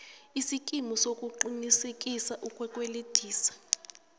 isikimu sokuqinisekisa ukukwelediswa